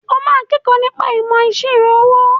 O máa kẹ́kọ̀ọ́ nípa ìmọ̀ ìṣirò owó.